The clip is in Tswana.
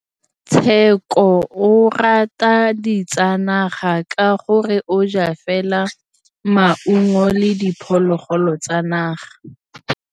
Tshekô o rata ditsanaga ka gore o ja fela maungo le diphologolo tsa naga.